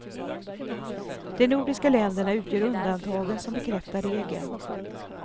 De nordiska länderna utgör undantagen som bekräftar regeln.